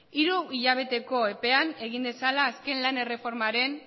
hiruhilabeteko epean egin dezala azken lan erreformaren